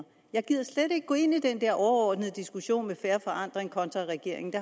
jeg gider slet ikke gå ind i den der overordnede diskussion med fair forandring kontra regeringens